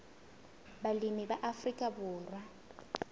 balemi ba afrika borwa ba